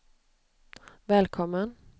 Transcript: välkommen